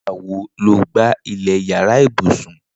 Nigbà wó ló gbá ilẹ iyàrá ibùsùn